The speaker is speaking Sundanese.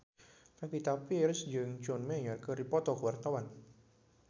Pevita Pearce jeung John Mayer keur dipoto ku wartawan